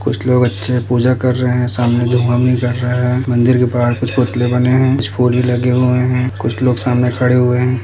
कुछ लोग अच्छे से पूजा कर रहे है सामने धुआँ भी निकल रहा है मंदिर के बाहर कुछ पुतले बने है कुछ फूल भी लगे हुए है कुछ लोग सामने खड़े हुए है।